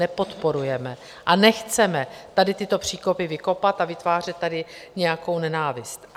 Nepodporujeme a nechceme tady tyto příkopy vykopat a vytvářet tady nějakou nenávist.